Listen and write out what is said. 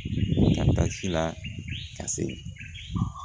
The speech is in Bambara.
Ka taa si la ka se